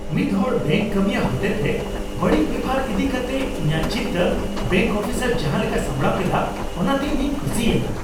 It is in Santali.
ᱢᱤᱫᱦᱚᱲ ᱵᱮᱝᱠ ᱠᱟᱹᱢᱤᱭᱟᱹ ᱦᱚᱛᱮᱛᱮ ᱵᱟᱹᱲᱤᱡ ᱵᱮᱣᱦᱟᱨ ᱤᱫᱤ ᱠᱟᱛᱮᱜ ᱤᱧᱟᱹᱜ ᱪᱤᱱᱛᱟᱹ ᱵᱮᱝᱠ ᱚᱯᱷᱤᱥᱟᱨ ᱡᱟᱦᱟᱸ ᱞᱮᱠᱟᱭ ᱥᱟᱢᱲᱟᱣ ᱠᱮᱫᱟ ᱚᱱᱟᱛᱮ ᱤᱧᱤᱧ ᱠᱩᱥᱤᱭᱮᱱᱟ ᱾